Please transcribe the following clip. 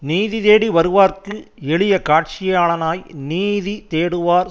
நீதி தேடி வருவார்க்கு எளிய காட்சியாளனாய் நீதி தேடுவார்